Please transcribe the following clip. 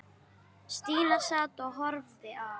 Stína sat og horfði á.